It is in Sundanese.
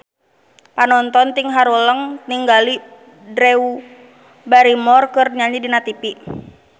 Panonton ting haruleng ningali Drew Barrymore keur nyanyi di tipi